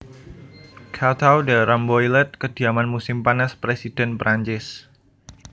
Château de Rambouillet kediaman musim panas presiden Perancis